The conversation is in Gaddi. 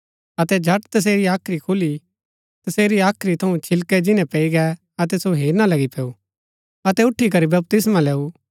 अतै झट तसेरी हाख्री थऊँ छिलकै जिन्‍नै पैई गै अतै सो हेरना लगी पैऊ अतै उठी करी बपतिस्मा लैऊ